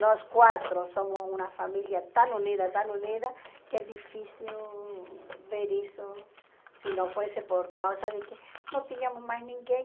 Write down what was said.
Nós quatro somos uma família tão unida, tão unida, que é difícil ver isso se não fosse por causa de que não tínhamos mais ninguém.